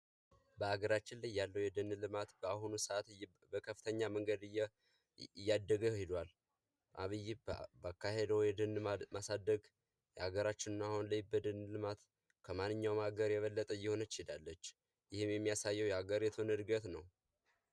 በሀገራችን ያለው የደን ልማት በአሁኑ ሰአት በከፍተኛ ሁኔታ እያደገ ሂዷል። አብይ ባካሄደው የደን ማሳደግ በሃገራችን በአሁኑ ሰዓት ከማንኛውም ሀገር እየበለጠች ሄዳለች፤ ይህም የሚያሳየው የሀገሪቱን ዕድገት ነው።